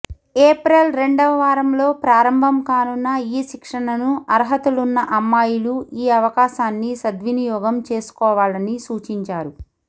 April రెండవ వారంలో ప్రారంభం కానున్న ఈ శిక్షణను అర్హతలున్న అమ్మాయిలు ఈ అవకాశాన్ని సద్వినియోగం చేసుకోవాలని సూచించారు